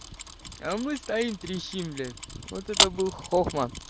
а мы стоим трещим блять вот это был хохма